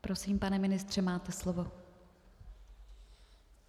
Prosím, pane ministře, máte slovo.